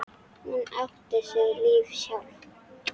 Hún átti sitt líf sjálf.